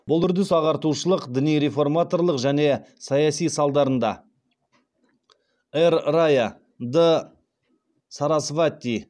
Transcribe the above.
бұл үрдіс ағартушылық діни реформаторлық және саяси салдарында р рая д сарасвати